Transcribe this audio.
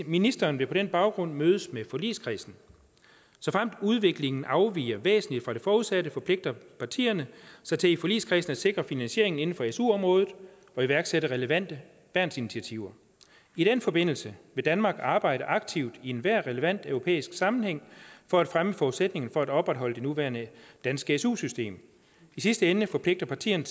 ministeren vil på den baggrund mødes med forligskredsen såfremt udviklingen afviger væsentligt fra det forudsatte forpligter partierne sig til i forligskredsen at sikre finansiering inden for su området og iværksætte relevante værnsinitiativer i den forbindelse vil danmark arbejde aktivt i enhver relevant europæisk sammenhæng for at fremme forudsætningerne for at opretholde det nuværende danske su system i sidste ende forpligter partierne